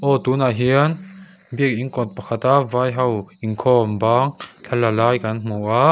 aw tunah hian biakin kawt pakhata vai ho inkhawm bang thlala lai kan hmu a.